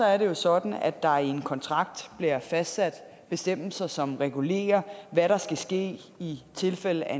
er det sådan at der i en kontrakt bliver fastsat bestemmelser som regulerer hvad der skal ske i tilfælde af